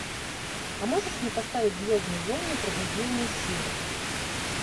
а можешь мне поставить звездные войны пробуждение силы